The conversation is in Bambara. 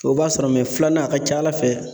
O b'a sɔrɔ mɛ filanan a ka ca ala fɛ